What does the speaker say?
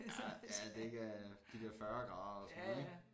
Ja ja at det ikke er de der 40 grader ellers sådan noget ik